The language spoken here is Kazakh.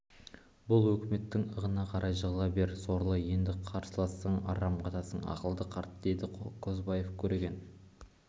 бұл өкіметтің ығына қарай жығыла бер сорлы енді қарсылассаң арам қатасың ақылды қарт деді кобозев көреген